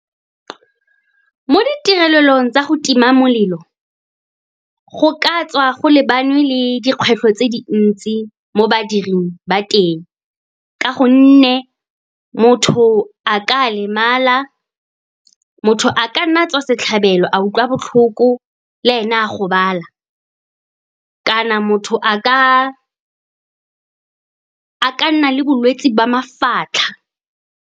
Mo ditirelelong tsa go tima molelo, go ka tswa go lebane le dikgwetlho tse dintsi mo badiring ba teng, ka gonne motho a ka nna a tswa setlhabelo, a utlwa botlhoko, le ene a gobala. Kana motho a ka nna le bolwetse ba mafatlha.